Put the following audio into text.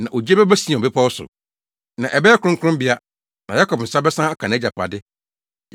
Na ogye bɛba Sion bepɔw so na ɛbɛyɛ kronkronbea, na Yakob nsa bɛsan aka nʼagyapade.